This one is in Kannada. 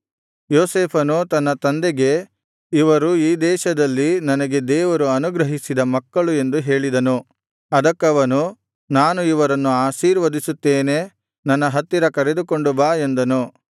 ಯೋಸೇಫನು ತನ್ನ ತಂದೆಗೆ ಇವರು ಈ ದೇಶದಲ್ಲಿ ನನಗೆ ದೇವರು ಅನುಗ್ರಹಿಸಿದ ಮಕ್ಕಳು ಎಂದು ಹೇಳಿದನು ಅದಕ್ಕವನು ನಾನು ಇವರನ್ನು ಆಶೀರ್ವದಿಸುತ್ತೇನೆ ನನ್ನ ಹತ್ತಿರ ಕರೆದುಕೊಂಡು ಬಾ ಎಂದನು